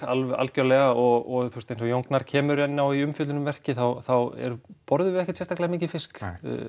alveg algjörlega og eins og Jón Gnarr kemur inn á í umfjöllun um verkið þá borðum við ekkert sérstaklega mikinn fisk